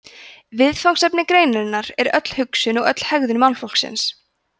viðfangsefni greinarinnar er öll hugsun og öll hegðun mannfólksins